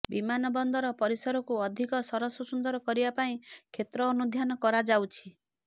ବିମାନବନ୍ଦର ପରିସରକୁ ଅଧିକ ସରସ ସୁନ୍ଦର କରିବା ପାଇଁ କ୍ଷେତ୍ର ଅନୁଧ୍ୟାନ କରାଯାଉଛି